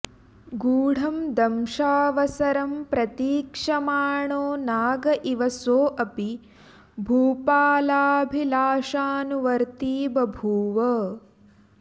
गूढं दंशावसरं प्रतीक्षमाणो नाग इव सोऽपि भूपालाभिलाषानुवर्त्ती बभूव